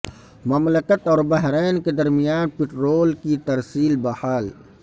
مملکت اور بحرین کے درمیان پٹرول کی ترسیل بحال